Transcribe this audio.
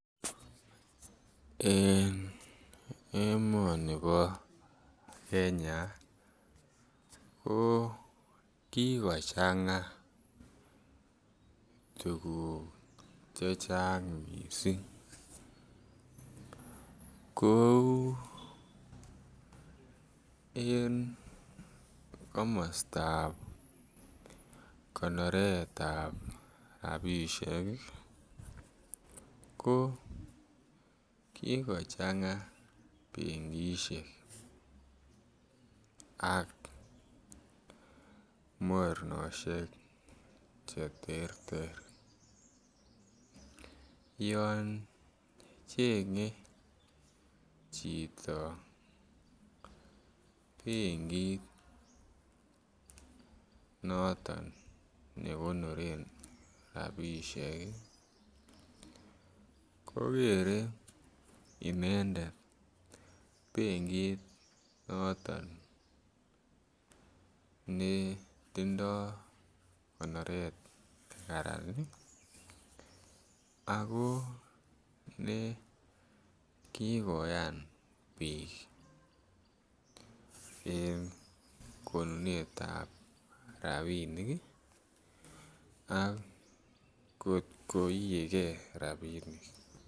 En emonibo Kenya ko kikochanga tuguk chechang kouu en komostab konoretab rabishek ko kikochanga benkishek ak mornoshek che terter yon chenge chito benkit noton ne konoren rabishek ii kogere inendet benkit noton ne tindo konoret ne Karan ii ako ne kigoyan biik en konunetab rabinik ii ak kot koiegee rabinik